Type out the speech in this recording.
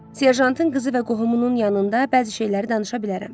Serjantın qızı və qohumunun yanında bəzi şeyləri danışa bilərəm.